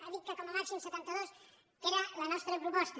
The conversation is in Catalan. ha dit que com a màxim setanta dues que era la nostra proposta